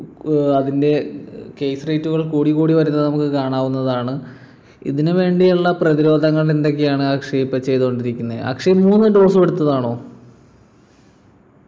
ഏർ അതിൻ്റെ ഏർ case rate കൾ കൂടിക്കൂടി വരുന്നത് നമുക്ക് കാണാവുന്നതാണ് ഇതിനു വേണ്ടിയുള്ള പ്രതിരോധങ്ങൾ എന്തൊക്കെയാണ് അക്ഷയ് ഇപ്പൊ ചെയ്തുകൊണ്ടിരിക്കുന്നെ അക്ഷയ് മൂന്നു dose ഉം എടുത്തതാണോ